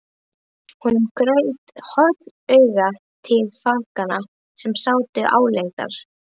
Hann gaut hornauga til fanganna sem sátu álengdar.